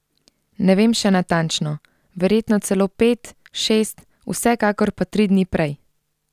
Ne vem še natančno, verjetno celo pet, šest, vsekakor pa tri dni prej.